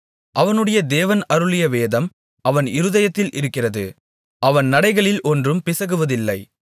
அவனுடைய தேவன் அருளிய வேதம் அவன் இருதயத்தில் இருக்கிறது அவன் நடைகளில் ஒன்றும் பிசகுவதில்லை